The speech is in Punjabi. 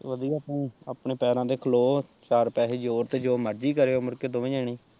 ਵਧੀਆ ਤੂੰ ਆਪਣੇ ਪੈਰਾਂ ਤੇ ਖਲੋ ਚਾਰ ਪੈਹੇ ਜੋੜ ਤੇ ਜੋ ਮਰਜ਼ੀ ਕਰੇ ਓ ਮੁੜ ਕੇ ਦੋਵੇਂ ਜਣੇ।